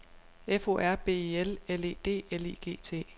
F O R B I L L E D L I G T